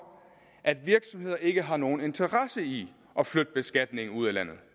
at virksomheder ikke har nogen interesse i at flytte beskatningen ud af landet